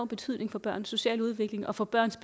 betydning for børns sociale udvikling og for børns